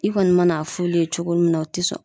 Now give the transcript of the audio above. I kɔni mana f'ulu ye cogo min na u ti sɔn